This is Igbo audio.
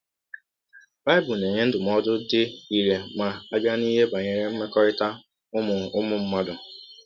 Bible na - enye ndụmọdụ dị irè ma a bịa n’ihe banyere mmekọrịta ụmụ ụmụ mmadụ.